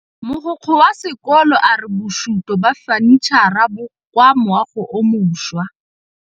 Mogokgo wa sekolo a re bosutô ba fanitšhara bo kwa moagong o mošwa.